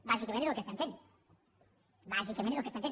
bàsicament és el que estem fent bàsicament és el que estem fent